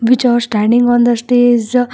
Which are standing on the stage.